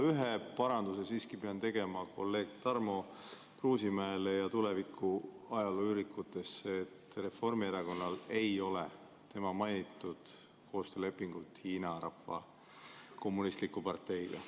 Ühe paranduse pean siiski tegema kolleeg Tarmo Kruusimäe ja tuleviku ajalooürikute tarbeks: Reformierakonnal ei ole tema mainitud koostöölepingut Hiina Kommunistliku Parteiga.